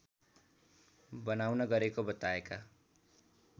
बनाउन गरेको बताएका